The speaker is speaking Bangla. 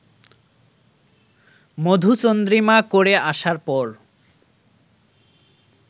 মধুচন্দ্রিমা করে আসার পর